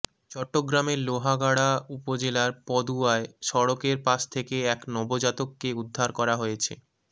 চট্টগ্রামের লোহাগাড়া উপজেলার পদুয়ায় সড়কের পাশ থেকে এক নবজাতককে উদ্ধার করা হয়েছে